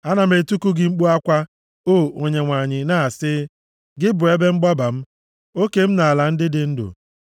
Ana m etiku gị mkpu akwa, o Onyenwe anyị, na-asị, “Gị bụ ebe mgbaba m, oke m nʼala ndị dị ndụ.”